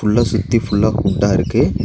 உள்ள சுத்தி ஃபுல்லா குண்டா இருக்கு.